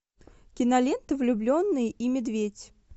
кинолента влюбленные и медведь